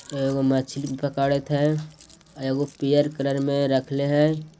एगो मछली पकड़त हए अउ एगो पियर कलर में रखले हए ।